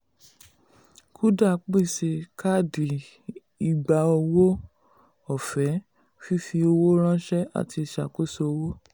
kuda pèsè káàdì ìgbà-owó ọ̀fẹ́ fífi owó ránṣẹ́ àti ìṣàkóso owó.